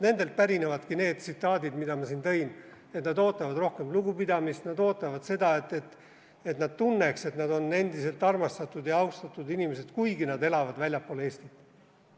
Nendelt pärinevadki need tsitaadid, mida ma siin välja tõin, et nad ootavad rohkem lugupidamist, nad ootavad, et nad tunneks, et nad on endiselt armastatud ja austatud inimesed, kuigi nad elavad väljaspool Eestit.